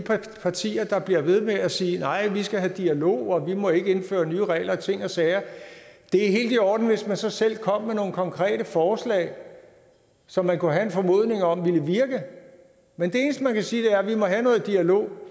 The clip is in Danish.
partier der bliver ved med at sige at vi skal have dialog og at vi ikke må indføre nye regler og ting og sager det er helt i orden hvis man så selv kom med nogle konkrete forslag som man kunne have en formodning om ville virke men det eneste man kan sige er at vi må have noget dialog